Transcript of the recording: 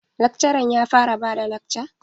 Lakcaran ya fara bada lakca?